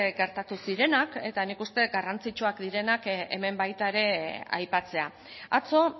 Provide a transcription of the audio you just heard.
gertatu zirenak eta nik uste garrantzitsuak direnak hemen baita ere aipatzea atzo